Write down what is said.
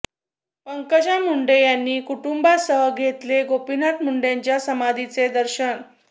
पंकजा मुंडे यांनी कुटुंबासह घेतले गोपीनाथ मुंडेच्या समाधीचे दर्शन